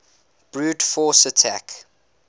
brute force attack